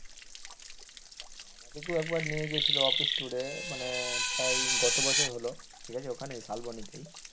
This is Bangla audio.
এইতো একবার নিয়ে গেছিল অফিস tour এ মানে প্রায় গত বছর হল ঠিক আছে ওখানে শালবনেতেই,